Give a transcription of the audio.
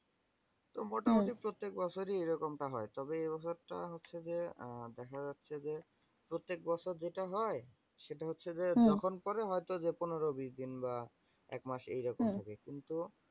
তো মোটামোটি প্রত্যেক বছরই এ রকমটা টা হয়। তবে এবছর টা হচ্ছে যে আহ দেখা যাচ্ছে যে প্রত্যেক বছর যেটা হয় সেটা হচ্ছে যে, যখন পরে হয়তো যে পনেরো, বিশ দিন বা এক মাস এইরকম করে কিন্তু